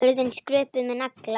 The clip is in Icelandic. Hurðin skröpuð með nagla.